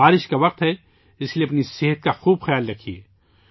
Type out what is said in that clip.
بارش کا وقت ہے، اس لئے اپنی صحت کا خوب خیال رکھیئے